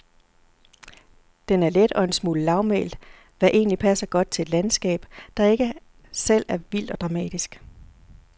Den er let og en smule lavmælt, hvad egentligt passer godt til et landskab, der ikke selv er vildt og dramatisk.